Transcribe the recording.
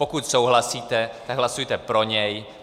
Pokud souhlasíte, tak hlasujte pro něj.